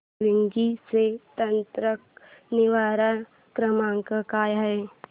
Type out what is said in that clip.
Swiggy चा तक्रार निवारण क्रमांक काय आहे